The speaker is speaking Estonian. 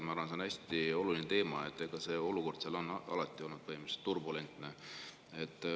Ma arvan, et see on hästi oluline teema, olukord seal on alati olnud põhimõtteliselt turbulentne.